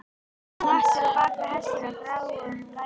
Hann vatt sér á bak hestinum, gráum gæðingi.